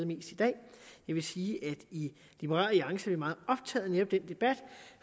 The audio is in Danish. mest i dag jeg vil sige at vi i liberal alliance er meget optaget af netop den debat